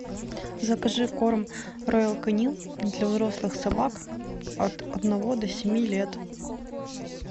закажи корм роял канин для взрослых собак от одного до семи лет